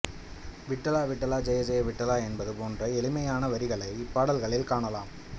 விட்டலா விட்டலா ஜெய ஜெய விட்டலாஎன்பது போன்ற எளிமையான வரிகளை இப்பாடல்களில் காணலாம்